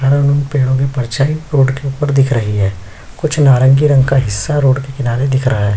यहाँ पेड़ में परछाई रोड के ऊपर दिख रही है कुछ नरगी रंग का हिस्सा रोड के किनारे दिख रहा है।